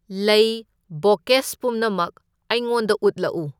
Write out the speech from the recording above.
ꯂꯩ ꯕꯣꯀꯦꯁ ꯄꯨꯝꯅꯃꯛ ꯑꯩꯉꯣꯟꯗ ꯎꯠꯂꯛꯎ꯫